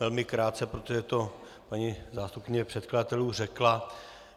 Velmi krátce, protože to paní zástupkyně předkladatelů řekla.